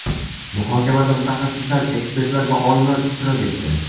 Muhokamada mutaxassislar, ekspertlar va olimlar ishtirok etdi.